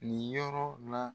Nin yɔrɔ la.